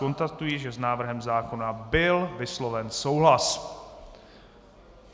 Konstatuji, že s návrhem zákona byl vysloven souhlas.